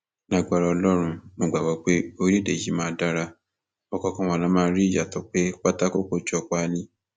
lágbára ọlọrun mo gbàgbọ pé orílẹèdè yìí máa dara ọkọọkan wa la máa rí ìyàtọ pé pátákó kò jọ páálí